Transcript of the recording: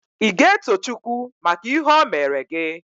Ị ga-eto Chukwu maka ihe o meere gị?